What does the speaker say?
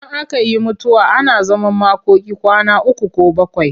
Idan aka yi mutuwa ana zaman makoki kwana uku ko bakwai.